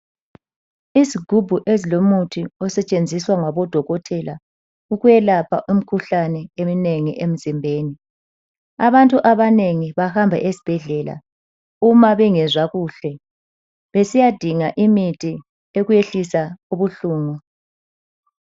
Izigubhu ezilomuthi osetshenziswa ngabo dokotela ukwelapha umkhuhlane eminengi emzimbeni. Abantu abanengi bahamba esibhedlela uma bengezwa kuhle besiya dinga imithi yokwehlisa ubuhlungu.